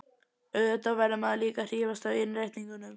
Auðvitað verður maður líka að hrífast af innréttingunum.